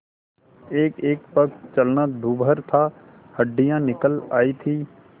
एकएक पग चलना दूभर था हड्डियाँ निकल आयी थीं